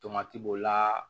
Tomati b'o la